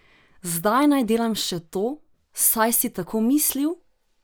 Zdaj naj delam še to, saj si tako mislil?